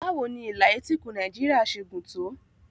Báwo ni ìlà etíkun Nàìjíríà ṣe gùn tó?